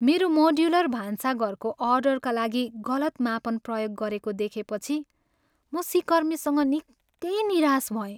मेरो मोड्युलर भान्साघरको अर्डरका लागि गलत मापन प्रयोग गरेको देखेपछि म सिकर्मीसँग निकै निराश भएँ।